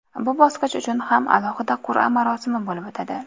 Bu bosqich uchun ham alohida qur’a marosimi bo‘lib o‘tadi.